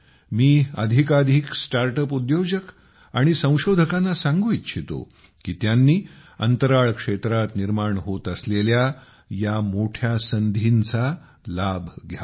मी अधिकाधिक startup उद्योजक आणि संशोधकांना सांगू इच्छितो की त्यांनी अंतराळ क्षेत्रात निर्माण होत असलेल्या या मोठ्या संधींचा लाभ घ्यावा